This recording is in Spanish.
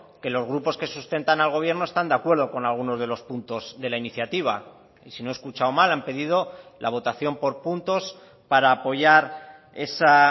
que los grupos que sustentan al gobierno están de acuerdo con algunos de los puntos de la iniciativa y si no he escuchado mal han pedido la votación por puntos para apoyar esa